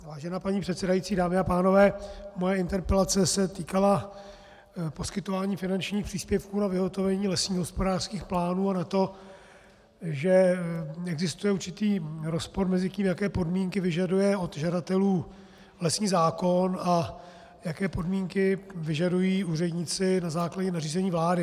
Vážená paní předsedající, dámy a pánové, moje interpelace se týkala poskytování finančních příspěvků na vyhotovení lesních hospodářských plánů a na to, že existuje určitý rozpor mezi tím, jaké podmínky vyžaduje od žadatelů lesní zákon, a jaké podmínky vyžadují úředníci na základě nařízení vlády.